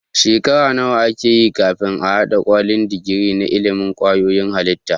Shekara nawa akeyi kafin a hada kwalin digiri na ilimin kwayoyin halitta